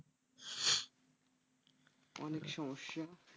অনেক সমস্যা